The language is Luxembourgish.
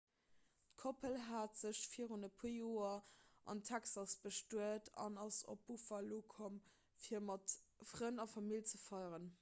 d'koppel hat sech virun e puer joer an texas bestuet an ass op buffalo komm fir mat frënn a famill ze feieren